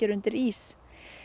undir ís